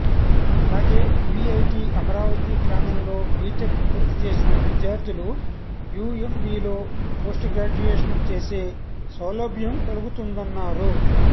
అలాగే వీఐటీ అమరావతి ప్రాంగణంలో బీటెక్ పూర్తిచేసిన విద్యార్ధులు యుఎంబీలో పోస్టుగ్రాడ్యుయేషన్ చేసే సౌలభ్యం కలుగుతుందన్నారు